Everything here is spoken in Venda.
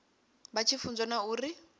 vha tshi funzwa na uri